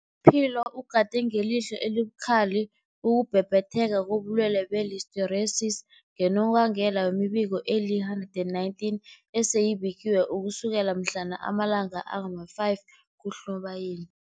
Philo ugade ngelihlo elibukhali ukubhebhetheka kobulwele be-Listeriosis, ngonobangela wemibiko eli-119 eseyibikiwe ukusukela mhlana ama-5 kuNobayeni.